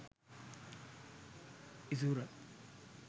isura